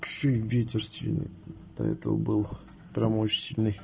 так ещё и ветер сильный до этого был прямо очень сильный